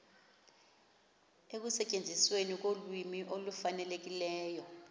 ekusetyenzisweni kolwimi olufanelekileyo